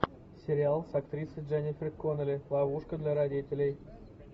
сериал с актрисой дженнифер коннелли ловушка для родителей